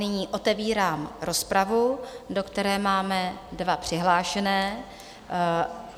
Nyní otevírám rozpravu, do které máme dva přihlášené.